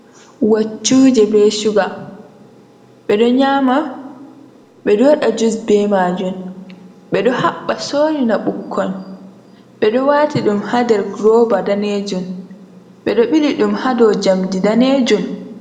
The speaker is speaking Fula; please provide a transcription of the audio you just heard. Waccuje be shuga ɓeɗo nyama ɓeɗo waɗa jus be majun ɓe ɗo habba sorina ɓikkon ɓe ɗo wati ɗum hader goraji roba danejum ɓeɗo ɓili ɗum hadow jamdi danejum.